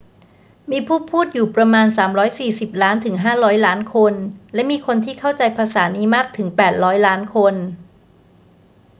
มีผู้พูดอยู่ประมาณ 340 ล้านถึง 500 ล้านคน และมีคนที่เข้าใจภาษานี้มากถึง 800 ล้านคน